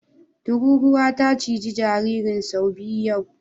Tururuwa ta ciji jaririn sau biyu yau.